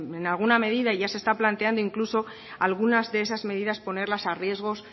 en alguna medida ya se está planteando incluso algunas de esas medidas ponerlas a riesgos